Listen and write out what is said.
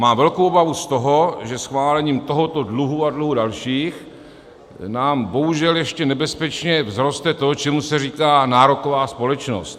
Mám velkou obavu z toho, že schválením tohoto dluhu a dluhů dalších nám bohužel ještě nebezpečně vzroste to, čemu se říká nároková společnost.